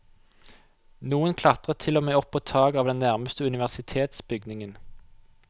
Noen klatret til og med opp på taket av den nærmeste universitetsbygningen.